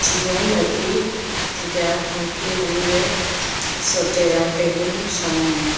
anyway so they are taking some